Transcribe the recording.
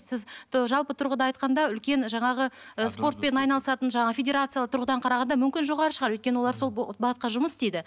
сіз жалпы тұрғыда айтқанда үлкен жаңағы ы спортпен айналысатын жаңағы федерациялы тұрғыдан қарағанда мүмкін жоғары шығар өйткені олар сол бағытқа жұмыс істейді